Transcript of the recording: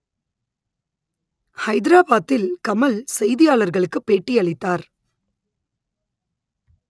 ஹைதராபாத்தில் கமல் செய்தியாளர்களுக்கு பேட்டியளித்தார்